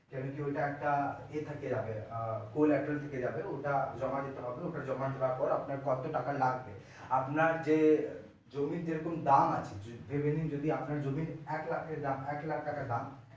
কেন কি ওইটা একটা ইয়ে থাকে আহ থেকে যাবে ওটা জমা দিতে হবে ওটা জমা দেওয়ার পর আপনার কত টাকা লাগবে আপনার যে জমির যেরকম দাম আছে ধরে নিন আপনার জমির যদি এক লাখ এর দাম থাকে এক লাখ টাকা দাম